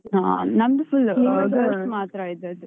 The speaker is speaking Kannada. ಹಾ ನಮ್ದು full girls ಮಾತ್ರ ಇದ್ದದ್ದು.